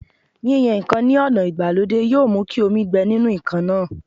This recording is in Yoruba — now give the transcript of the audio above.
Yíyan ǹkan ní ọ̀nà ìgbàlódé yóò mú kí omi gbẹ nínú ǹkan náà